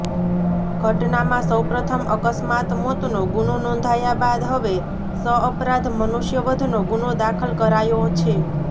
ઘટનામાં સૌપ્રથમ અકસ્માત મોતનો ગુનો નોંધાયા બાદ હવે સઅપરાધ મુનષ્યવધનો ગુનો દાખલ કરાયો છે